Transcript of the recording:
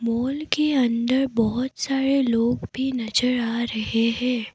Mall के अंदर बहुत सारे लोग भी नजर आ रहे हैं।